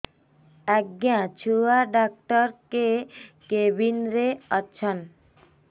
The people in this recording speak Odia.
ଆଜ୍ଞା ଛୁଆ ଡାକ୍ତର କେ କେବିନ୍ ରେ ଅଛନ୍